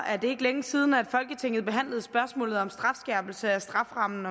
er det ikke længe siden folketinget behandlede spørgsmålet om skærpelse af strafferammen